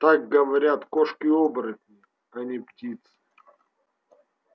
так говорят кошки-оборотни а не птицы